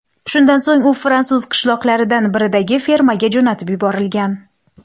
Shundan so‘ng u fransuz qishloqlaridan biridagi fermaga jo‘natib yuborilgan.